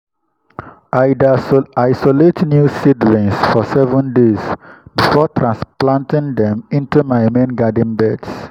i dey isolate new seedlings for seven days before transplanting them into my main garden beds.